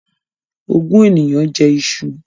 Ogún ènìyàn jẹ iṣu